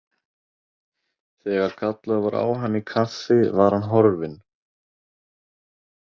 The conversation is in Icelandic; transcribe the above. Þegar kallað var á hann í kaffi var hann horfinn.